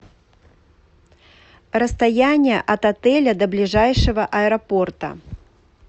расстояние от отеля до ближайшего аэропорта